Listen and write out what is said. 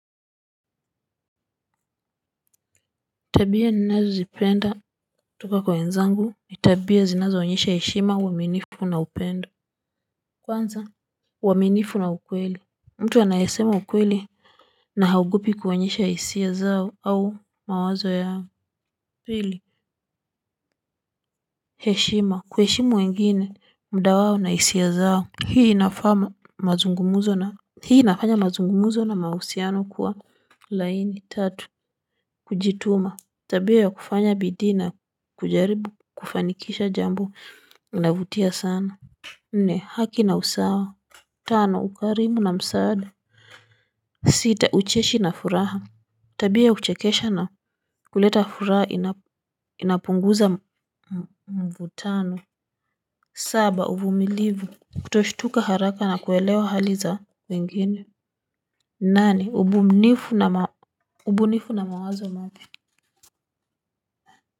Tabia ninazozipenda kutoka kwa wenzangu ni tabia zinazoonyesha heshima uaminifu na upendo. Kwanza uaminifu na ukweli. Mtu anayasema ukweli na haogopi kuonyesha hisia zao au mawazo yao pili. Heshima. Kuheshimu wengine muda wao na hisia zao. Hii inafaa mazungumuzo na hii inafanya mazungumuzo na mahusiano kuwa laini tatu. Kujituma tabia ya kufanya bidii na kujaribu. Kufanikisha jambo unavutia sana. Ni haki na usawa. Tano ukarimu na msaada. Sita ucheshi na furaha. Tabia uchekesha na kuleta furaha inapunguza mvutano. Saba uvumilivu. Kutoshtuka haraka na kuelewa hali za wengine. Nane ubunifu na mawazo mapya.